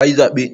Ka yi zaɓe?